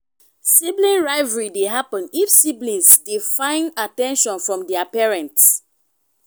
sibling rivalry de happen if siblings de find at ten tion from their parents